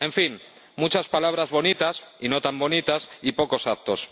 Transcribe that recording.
En fin, muchas palabras bonitas y no tan bonitas y pocos actos.